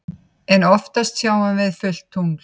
En oftast sjáum við fullt tungl.